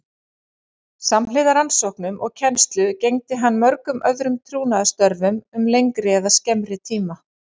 Samhliða rannsóknum og kennslu gegndi hann mörgum öðrum trúnaðarstörfum um lengri eða skemmri tíma.